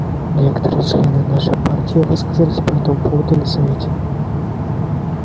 некоторые члены нашей партии высказались по этому поводу на совете